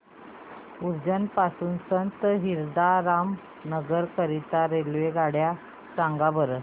उज्जैन पासून संत हिरदाराम नगर करीता रेल्वेगाड्या सांगा बरं